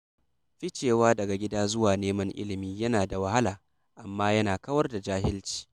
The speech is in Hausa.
Ficewa daga gida zuwa neman ilimi yana da wahala, amma yana kawar da jahilci.